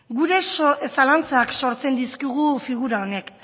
gure zalantzak sortzen dizkigu figura honek